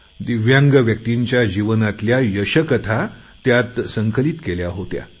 दिव्यांग व्यक्तींच्या जीवनातल्या यशोकथा त्यात संकलीत केल्या होत्या